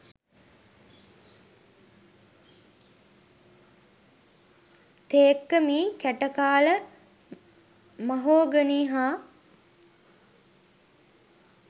තේක්ක මී කැටකාල මහෝගනී හා